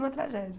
Uma tragédia!